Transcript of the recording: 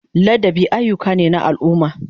Ladabi ayyuka ne na al'umma.